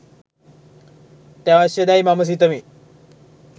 අත්‍යවශ්‍ය දැයි මම සිතමි